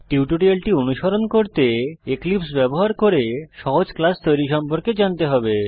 টিউটোরিয়ালটি অনুসরণ করতে এক্লিপসে ব্যবহার করে সহজ ক্লাস তৈরি সম্পর্কে জানতে হবে